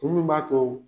Mun b'a to